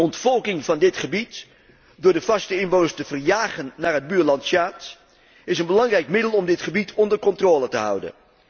Ontvolking van dit gebied door de vaste inwoners te verjagen naar het buurland Tsjaad, is een belangrijk middel om dit gebied onder controle te houden.